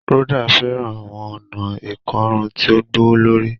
Rhoda fẹràn awọn ọna ikorun ti o gbowolori